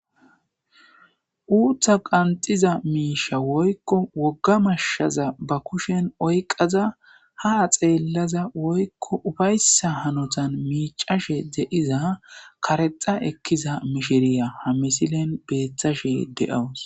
uuththa qanxiza miisha woykko wogga mashshaza ba kushen oyqaza ha xeellaza woykko ufayssa hanotan miicashe de'iza karexa ekkiza mishiriya ha misilen beettashe de'awus